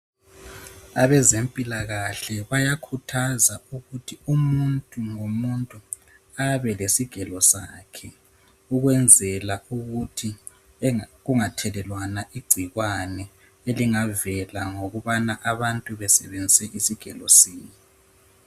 Abezempilakahle bayakhuthaza ukuthi umuntu ngomuntu abelesigelo sakhe, ukwenzela ukuthi kungathelelwana igcikwane elingavela ngokubana abantu besebenzise isigelo sinye.